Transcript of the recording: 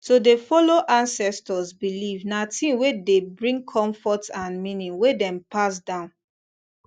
to dey follow ancestors beliefs na thing wey dey bring comfort and meaning wey dem pass down